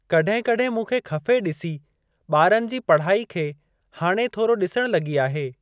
कड॒हिं कड॒हिं मूं खे खफ़े डिसी ॿारनि जी पढ़ाई खे हाणे थोरो डि॒सण लॻी आहे।